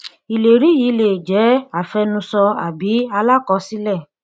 ìlérí yìí lè jẹ àfẹnusọ àbí alákọsílẹ